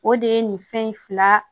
O de ye nin fɛn in fila